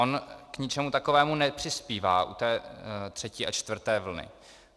On k ničemu takovému nepřispívá u té třetí a čtvrté vlny.